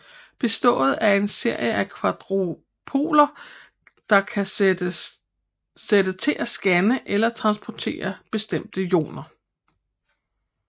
Består af en serie af quadropoler der kan sætte til at skanne eller transportere bestemte ioner